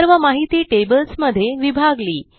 सर्व माहिती टेबल्स मध्ये विभागली